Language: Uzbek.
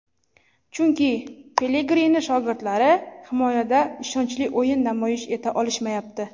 Chunki Pelegrini shogirdlari himoyada ishonchli o‘yin namoyish eta olishmayapti.